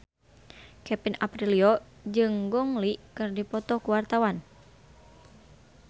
Kevin Aprilio jeung Gong Li keur dipoto ku wartawan